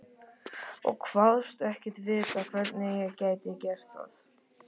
Ég kvaðst ekki vita, hvernig ég gæti gert það.